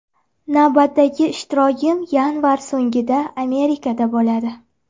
Navbatdagi ishtirokim yanvar so‘ngida Amerikada bo‘ladi.